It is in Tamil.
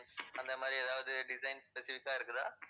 அந்த மாதிரி ஏதாவது designs specific ஆ இருக்குதா?